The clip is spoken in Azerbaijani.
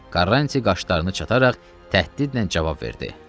Karranti qaşlarını çatararaq təhdidlə cavab verdi.